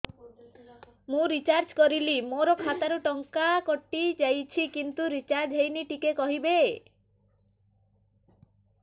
ମୁ ରିଚାର୍ଜ କରିଲି ମୋର ଖାତା ରୁ ଟଙ୍କା କଟି ଯାଇଛି କିନ୍ତୁ ରିଚାର୍ଜ ହେଇନି ଟିକେ କହିବେ